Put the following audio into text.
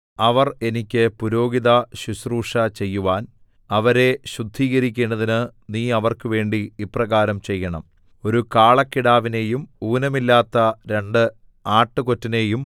അവർ എനിക്ക് പുരോഹിതശുശ്രൂഷ ചെയ്യുവാൻ അവരെ ശുദ്ധീകരിക്കേണ്ടതിന് നീ അവർക്കുവേണ്ടി ഇപ്രകാരം ചെയ്യണം ഒരു കാളക്കിടാവിനെയും ഊനമില്ലാത്ത രണ്ട് ആട്ടുകൊറ്റനെയും